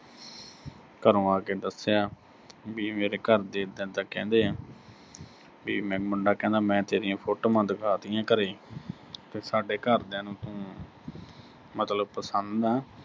ਘਰੋਂ ਆ ਕੇ ਦੱਸਿਆ ਵੀ, ਮੇਰੇ ਘਰ ਦੇ ਇਦਾਂ ਇਦਾਂ ਕਹਿੰਦੇ ਆ, ਵੀ ਮੈਂ, ਮੁੰਡਾ ਕਹਿੰਦਾ, ਮੈਂ ਤੇਰੀਆਂ ਫੋਟੋਆਂ ਦਿਖਾ ਤੀਆਂ ਘਰੇ ਤੇ ਸਾਡੇ ਘਰਦਿਆਂ ਨੂੰ ਤੂੰ ਅਹ ਮਤਲਬ ਪਸੰਦ ਆਂ।